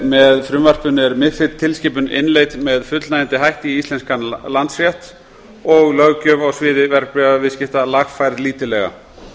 með frumvarpinu er mifid tilskipun innleidd með fullnægjandi hætti í íslenskan landsrétt og löggjöf á sviði verðbréfaviðskipta lagfærð lítillega